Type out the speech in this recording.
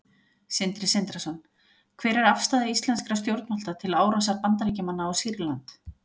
Sindri Sindrason: Hver er afstaða íslenskra stjórnvalda til árásar Bandaríkjamanna á Sýrland?